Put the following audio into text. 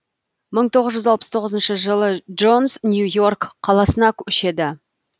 мың тоғыз жүз алпыс тоғызыншы жылы джонс нью йорк қаласына көшеді